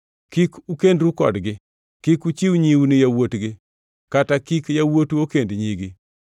Kik ukendru kodgi. Kik uchiw nyiu ni yawuotgi kata kik yawuotu okend nyigi,